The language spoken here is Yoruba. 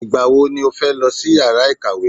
Ìgbà wo ni o fẹ́ lọ sí yàrá ìkàwé?